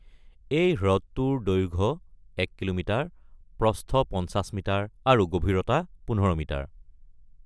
এই হ্ৰদটোৰ দৈৰ্ঘ্য এক কিলোমিটাৰ, প্ৰস্থ ৫০ মিটাৰ আৰু গভীৰতা ১৫ মিটাৰ।